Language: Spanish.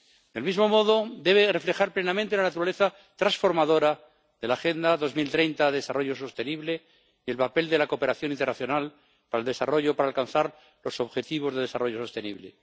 Del mismo modo, debe reflejar plenamente la naturaleza transformadora de la Agenda 2030 de Desarrollo Sostenible y el papel de la cooperación internacional al desarrollo para alcanzar los objetivos de desarrollo sostenible.